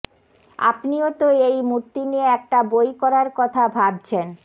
আপনিও তো এই মূর্তি নিয়ে একটা বই করার কথা ভাবছেন